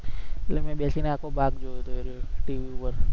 તે મેં બેસીને આખો ભાગ જોયો તો એ દિવસે TV પર